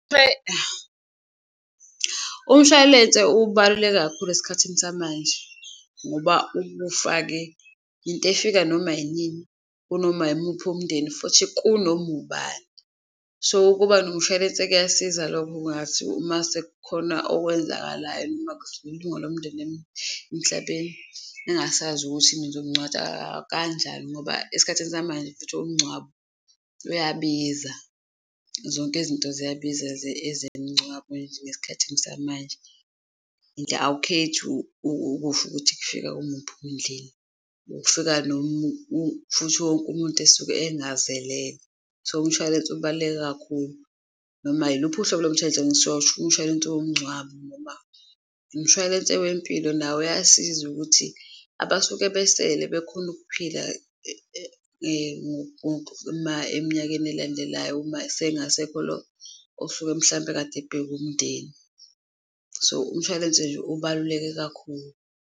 Umshwalense ubaluleke kakhulu esikhathini samanje ngoba ubufa-ke into efika noma inini, kunoma yimuphi umndeni futhi kunoma ubani so ukuba nomshwalense kuyasiza lokho. Kungathi uma sekukhona okwenzakalayo noma kudlula ilunga lomndeni emhlabeni engasazi ukuthi nizomngcwatsha kanjani ngoba esikhathini samanje futhi umngcwabo uyabiza. Zonke izinto ziyabiza ezemingcwabo ngesikhathini samanje awukhethi ukusho ukuthi kufika kumuphi umndleni ukufika futhi wonke umuntu esuke ezingazelele. So, umshwalense ubaluleke kakhulu noma yiluphi uhlobo lomshwalense umshwalense womngcwabo noma. Umshwalense wempilo nawo uyasiza ukuthi abasuke ebesisele bekhone ukuphila eminyakeni elandelayo, uma sengasekho lo osuke mhlampe kade ebheka umndeni. So, umshwalense nje ubaluleke kakhulu.